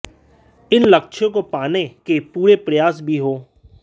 इन लक्ष्यों को पाने के पूरे प्रयास भी हों